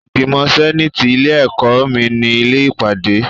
Ìgbìmọ̀ sẹ́nàtì ilé ẹ̀kọ́ mi ni ilé ìpàdé.